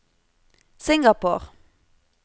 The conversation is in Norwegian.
Singapore